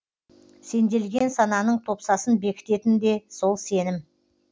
сенделген сананың топсасын бекітетін де сол сенім